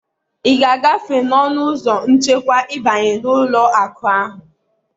ị ga-agafe n'ọnụ ụzọ nchekwa ịbanye n'ụlọ akụ ahụ